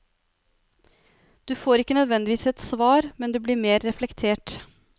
Du får ikke nødvendigvis et svar, men du blir mer reflektert.